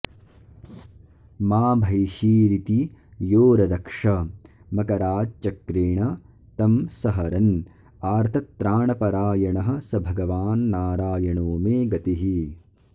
मा भैषीरिति यो ररक्ष मकराच्चक्रेण तं सहरन् आर्तत्राणपरायणः स भगवान्नारायणो मे गतिः